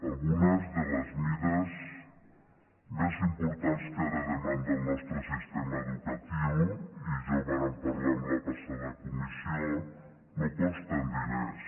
algunes de les mesures més importants que ara demanda el nostre sistema educatiu i ja ho vàrem parlar en la passada comissió no costen diners